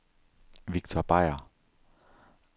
Viktor Beier